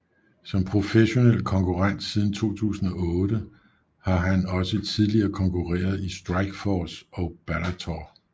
Som professionel konkurrent siden 2008 har han også tidligere konkurreret i Strikeforce og Bellator